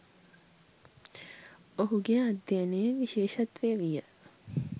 ඔහුගේ අධ්‍යයනයේ විශේෂත්වය විය